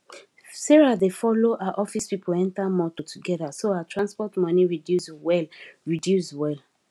sarah dey follow her office people enter motor together so her transport money reduce well reduce well